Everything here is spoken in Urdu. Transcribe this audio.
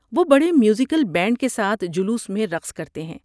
وہ بڑے میوزیکل بینڈ کے ساتھ جلوس میں رقص کرتے ہیں۔